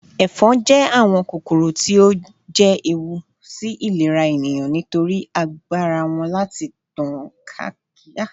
Éfon je àwón kókóró tí o je éwú sí ìlérá éniyán nitórì ágbárá wón lati tan káákiri àwon árun